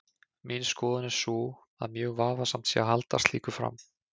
Mín skoðun er sú að mjög vafasamt sé að halda slíku fram.